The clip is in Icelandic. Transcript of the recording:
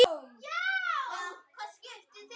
Takk fyrir allt, elsku Svenni.